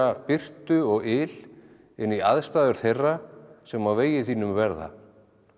birtu og yl inn í aðstæður þeirra sem á vegi þínum verða